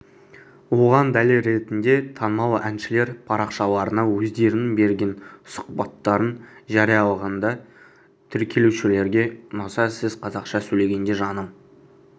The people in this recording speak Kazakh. оған дәлел ретінде танымал әншілер парақшаларына өздерінің берген сұхбаттарын жариялағанда тіркелушілерге ұнаса сіз қазақша сөйлегенде жаным